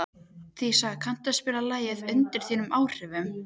Dísa, kanntu að spila lagið „Undir þínum áhrifum“?